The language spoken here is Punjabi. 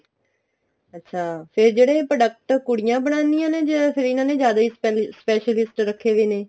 ਅੱਛਾ ਫ਼ੇਰ ਜਿਹੜੇ product ਕੁੜੀਆਂ ਬਣਾਦੀਆਂ ਨੇ ਜਾ ਇਹਨਾ ਨੇ ਜਿਆਦਾ ਹੀ specialist ਰੱਖੇ ਵੇ ਨੇ